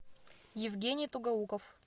евгений тугоуков